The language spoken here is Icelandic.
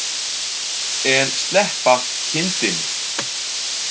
En sleppa kindinni.